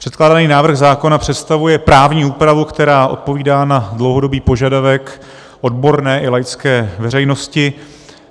Předkládaný návrh zákona představuje právní úpravu, která odpovídá na dlouhodobý požadavek odborné i laické veřejnosti.